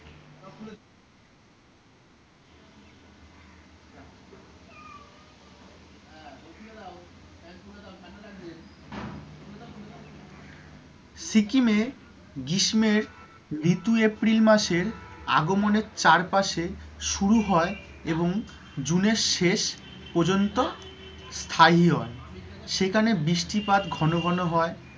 সিকিমে গ্রীষ্মের ঋতু april মাসের আগমনে চারপাশে শুরু হয় এবং june শেষ পর্যন্ত স্থায়ী হয়। সেখানে বৃষ্টিপাত ঘনঘন হয়,